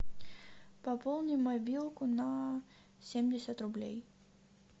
пополни мобилку на семьдесят рублей